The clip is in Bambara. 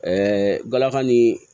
Ɛɛ galaka ni